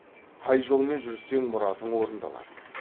қай жолмен жүрсең мұратың орындалады